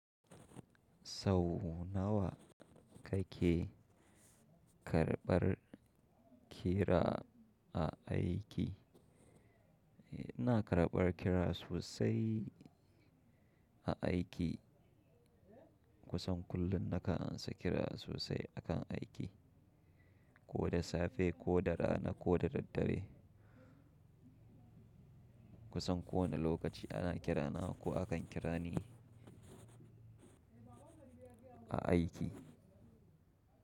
Sau nawa ka ke karɓar kira a aiki? Ina karɓar kira sosai a aiki. Kusan kullum na ka ansa kira sosai a kan aiki, ko da safe ko da rana ko da daddare. Kusan kowane lokaci ana kirana ko akan kira ni a aiki.